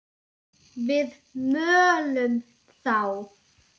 Við mölum þá!